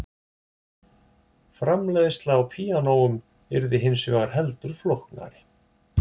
Framleiðsla á píanóum yrði hins vegar heldur flóknari.